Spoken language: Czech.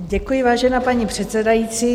Děkuji, vážená paní předsedající.